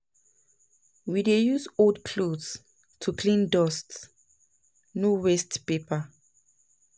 We dey use old clothes to clean dust, no waste paper